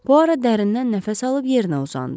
Puara dərindən nəfəs alıb yerinə uzandı.